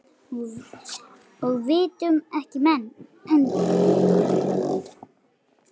Og vitum ekki enn.